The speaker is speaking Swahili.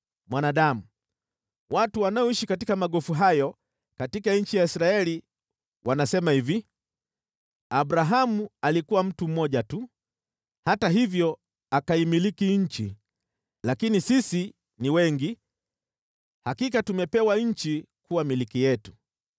“Mwanadamu, watu wanaoishi katika magofu hayo katika nchi ya Israeli wanasema hivi, ‘Abrahamu alikuwa mtu mmoja tu, hata hivyo akaimiliki nchi. Lakini sisi ni wengi, hakika tumepewa nchi kuwa milki yetu.’